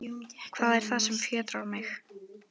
Hvað er það sem fjötrar mig?